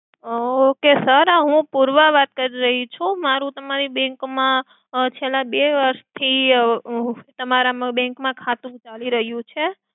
ok sir હું પૂર્વા વાત કરી રહી છું. મારુ તમારી bank માં છેલ્લા બે વર્ષથી તમારા bank ખાતું ચાલી રહ્યું છે.